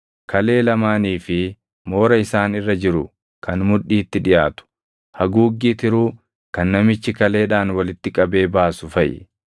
kalee lamaanii fi moora isaan irra jiru kan mudhiitti dhiʼaatu, haguuggii tiruu kan namichi kaleedhaan walitti qabee baasu faʼi.